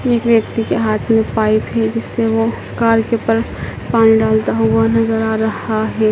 एक व्यक्ति के हाथ में पाइप है जिससे वो कार के ऊपर पानी डालता हुआ नजर आ रहा है।